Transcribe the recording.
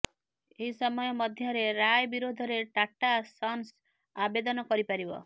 ଏହି ସମୟ ମଧ୍ୟରେ ରାୟ ବିରୋଧରେ ଟାଟା ସନ୍ସ ଆବେଦନ କରିପାରିବ